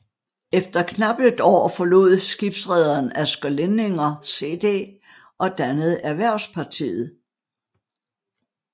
Efter knap et år forlod skibsrederen Asger Lindinger CD og dannede Erhvervspartiet